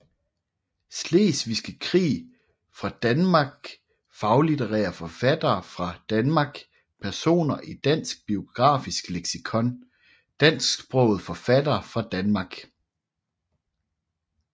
Slesvigske Krig fra Danmark Faglitterære forfattere fra Danmark Personer i Dansk Biografisk Leksikon Dansksprogede forfattere fra Danmark